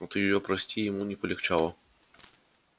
от её прости ему не полегчало